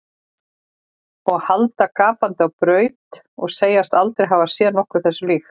Og halda gapandi á braut og segjast aldrei hafa séð nokkuð þessu líkt.